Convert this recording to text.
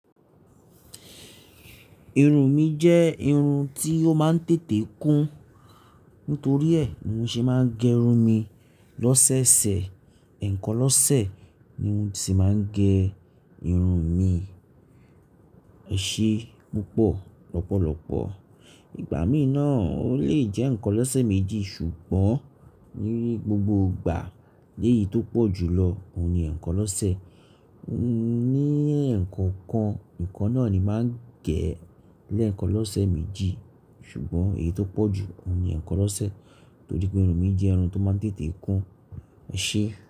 Irun mi jẹ́ irun tí ó máa ń tètè kún, nítorí è ní mo ṣe máa ń gẹrun mi lọ́sẹ̀ẹsẹ̀. Ẹ̀ẹ̀kan lọ́sẹ̀ ni mo sì máa ń gẹ irun mi, eṣé púpọ̀ lọ́pọ̀lọpọ̀. Ìgbà míi náà, ó lè jẹ́ ẹ̀ẹ̀kan lọ́sẹ̀ méjì, ṣùgbọ́n ní gbogbo ìgbà ní èyí tó pọ̀ jù lọ, òun ni ẹ̀ẹ̀kan lọ́sẹ̀ ni ẹ̀ẹ̀kọkan nikan náà ni màá ń gẹ léèkan lọ́sẹ̀ méjì ṣùgbọ́n èyí tó pọ̀ jù òun ni ẹ̀ẹ̀kan lọ́sẹ̀ torí pé irun mi jẹ́ irun tó máa ń tètè kún, e ṣé.